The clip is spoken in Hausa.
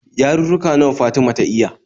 Yarurruka nawa Fatima ta iya?